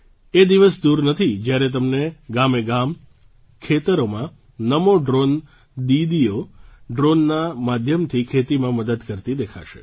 એ દિવસ દૂર નથી જ્યારે તમને ગામેગામ ખેતરોમાં નમો ડ્રૉન દીદીઓ ડ્રૉનના માધ્યમથી ખેતીમાં મદદ કરતી દેખાશે